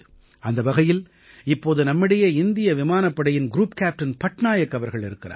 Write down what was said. அந்த வகையில் இப்போது நம்மிடையே இந்திய விமானப் படையின் க்ரூப் கேப்டன் பட்நாயக் அவர்கள் இருக்கிறார்